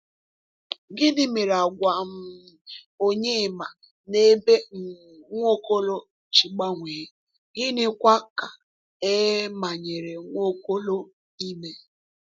Gịnị mere àgwà um Onyema n’ebe um Nwaokolo ji gbanwee, gịnịkwa ka e manyere Nwaokolo ime?